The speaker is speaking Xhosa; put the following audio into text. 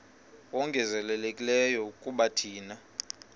ongezelelekileyo kuba thina